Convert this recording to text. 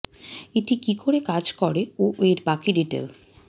এটি কি করে কাজ করে ও এর বাকি ডিটেল